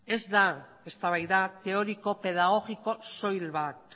ez da eztabaida teoriko pedagogiko soil bat